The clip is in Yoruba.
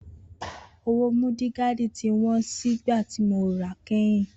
Owó múdìgaadì tí wón sì ìgbà tí mo ra kẹ́yìn